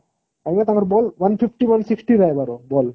ମାନେ ତାଙ୍କର ball one fifty one sixty ରହିବାର ball